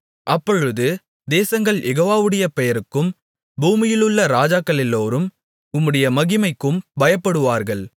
அப்பொழுது தேசங்கள் யெகோவாவுடைய பெயருக்கும் பூமியிலுள்ள ராஜாக்களெல்லோரும் உம்முடைய மகிமைக்கும் பயப்படுவார்கள்